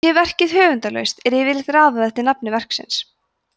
sé verkið höfundarlaust er yfirleitt raðað eftir nafni verksins